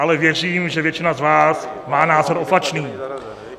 Ale věřím, že většina z vás má názor opačný.